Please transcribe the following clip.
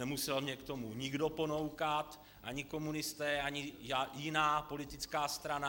Nemusel mě k tomu nikdo ponoukat - ani komunisté, ani jiná politická strana.